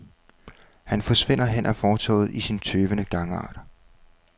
Han forsvinder hen ad fortovet i sin tøvende gangart.